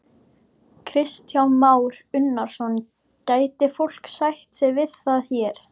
Kristján Már Unnarsson: Gæti fólk sætt sig við það hér?